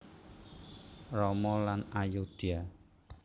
Rama and Ayodhya